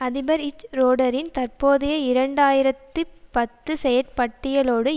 அதிபர் ச்சுரோடரின் தற்போதைய இரண்டு ஆயிரத்தி பத்து செயற் பட்டியலோடு